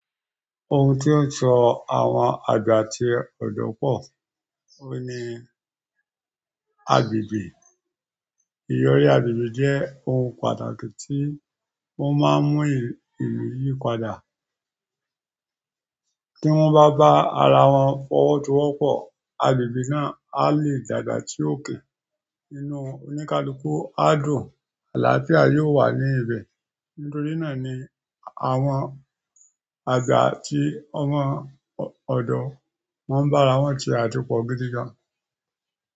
Ohun tó ń so àwọn àga tí ọ̀dọ́ pọ̀ ó ní agbègbè. Ìyọrí agbègbè jẹ́ ohun pàtàkì tí ó máa ń mú ìlú yìí padà. Kí wọ́n bá bá ara wọn fọwọ́ tọwọ́ pọ̀, agbègbè náà a lè dàgbà sí òkè. Nínú oníkálukú, àádùn àlàáfíà yóò wà ní ibẹ̀. Nítorí náà ni àwọn àga tí àwọn ọ̀dọ́ máa ń bá ara wọn ṣe á púpọ̀ gidi gan.